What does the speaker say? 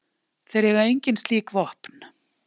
Þeir eiga engin slík vopn.